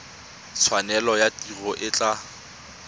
tshwanelo ya tiro e tla